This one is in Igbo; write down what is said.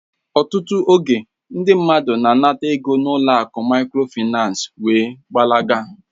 Ọtụtụ oge, ndị mmadụ na-anata ego n'ụlọ akụ Mikrofaịnsi wee gbalaga